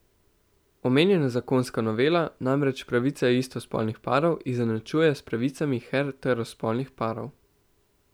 Omenjena zakonska novela namreč pravice istospolnih parov izenačuje s pravicami heterospolnih parov.